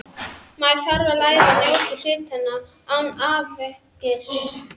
Maður þarf að læra að njóta hlutanna án áfengis.